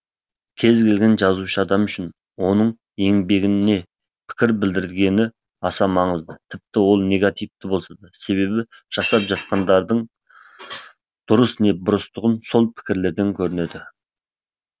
кез келген жазушы адам үшін оның еңбегіне пікір білдірілгені аса маңызды тіпті ол негативті болса да себебі жасап жатқандарының дұрыс не бұрыстығы сол пікірлерден көрінеді